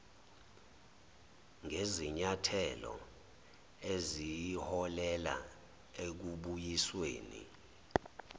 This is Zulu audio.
ngezinyathelo eziyoholela ekubuyisweni